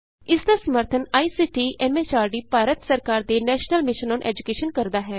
ਇਸ ਦਾ ਸਮਰੱਥਨ ਆਈਸੀਟੀ ਐਮ ਐਚਆਰਡੀਭਾਰਤ ਸਰਕਾਰ ਦੇ ਨੈਸ਼ਨਲ ਮਿਸ਼ਨ ਅੋਨ ਏਜੂਕੈਸ਼ਨ ਕਰਦਾ ਹੈ